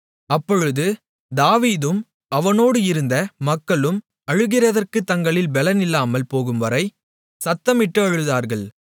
அப்பொழுது தாவீதும் அவனோடு இருந்த மக்களும் அழுகிறதற்குத் தங்களில் பெலனில்லாமல் போகும் வரை சத்தமிட்டு அழுதார்கள்